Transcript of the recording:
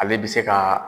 Ale bɛ se ka